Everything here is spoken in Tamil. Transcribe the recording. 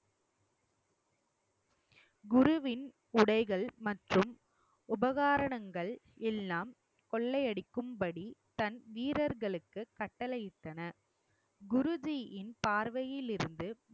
குருவின் உடைகள் மற்றும் உபகாரணங்கள் எல்லாம் கொள்ளையடிக்கும்படி தன் வீரர்களுக்கு கட்டளையிட்டனர் குருஜியின் பார்வையிலிருந்து